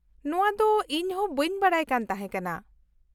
-ᱱᱚᱶᱟ ᱫᱚ ᱤᱧ ᱦᱚᱸ ᱵᱟᱹᱧ ᱵᱟᱰᱟᱭ ᱠᱟᱱ ᱛᱟᱦᱮᱸ ᱠᱟᱱᱟ ᱾